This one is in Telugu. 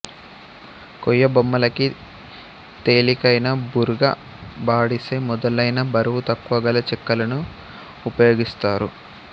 కొయ్యబొమ్మలకీ తేలికైన బూరుగ బాడిసె మొదలైన బరువు తక్కువ గల చెక్కలను లుపయోగిస్తారు